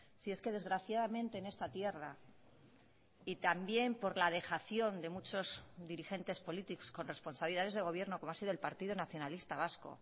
si es que desgraciadamente en esta tierra y también por la dejación de muchos dirigentes políticos con responsabilidades de gobierno como ha sido el partido nacionalista vasco